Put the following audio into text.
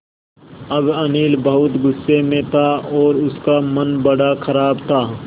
अब अनिल बहुत गु़स्से में था और उसका मन बड़ा ख़राब था